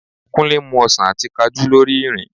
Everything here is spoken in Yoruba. Kúnlé ń mu ọsàn àti Kajú lórí ìrìn